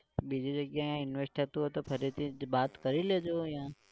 બીજી જગ્યાએ invest થતું હોય તો ફરીથી જ બાત કરી લેજો યા